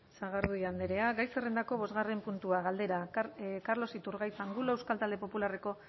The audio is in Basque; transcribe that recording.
sagardui andrea gai zerrendako bosgarren puntua galdera carlos iturgaiz angulo euskal talde popularra